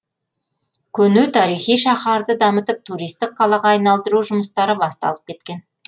көне тарихи шаһарды дамытып туристік қалаға айналдыру жұмыстары басталып кеткен